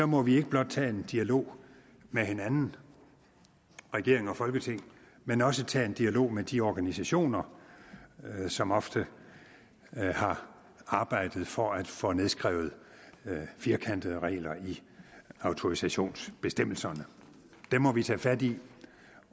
må vi ikke blot tage en dialog med hinanden regeringen og folketinget men også tage en dialog med de organisationer som ofte har arbejdet for at få nedskrevet firkantede regler i autorisationsbestemmelserne dem må vi tage fat i